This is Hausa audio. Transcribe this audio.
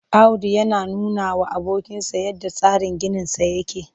Audu yana nunawa abokinsa yadda tsarin ginisa yake